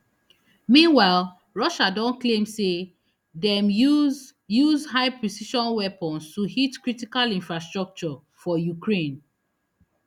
meanwhile russia don claim say dem use use highprecision weapons to hit critical infrastructure for ukraine